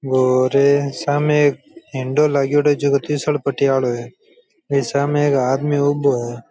और सामने एक हिंडो लागिडा है झको तीसलपटी आलो है ऐसा में साम एक आदमी ऊबो है।